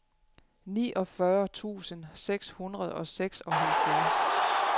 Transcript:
niogfyrre tusind seks hundrede og seksoghalvfjerds